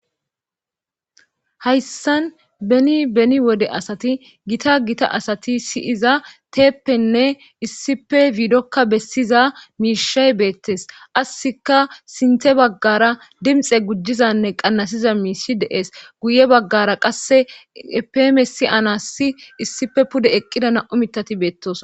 hayssan beni beni wode asati gita gita asati siyiza teeppenne issipe fiidokka bessiza miishay beettes qassika sinte baggara dimxe gujizanne qannasiza miisshi dees guye baggara qasse epemesi anassi issife pude eqqida na7u mitati beettosona